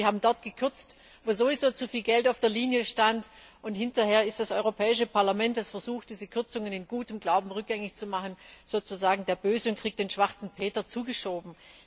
Das heißt, Sie haben dort gekürzt, wo sowieso zu viel Geld auf der Linie stand, und hinterher ist das Europäische Parlament, das versucht, diese Kürzungen in gutem Glauben rückgängig zu machen, sozusagen der Böse und bekommt den Schwarzen Peter zugeschoben.